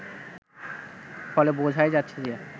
ফলে বোঝাই যাচ্ছে যে